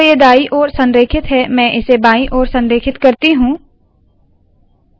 अभी तो यह दाई ओर संरेखित है मैं इसे बायी ओर संरेखित करती हूँ